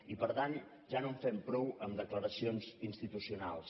i per tant ja no en fem prou amb declaracions institucionals